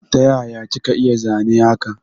Taya kika iya zane haka?